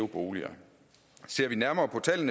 boende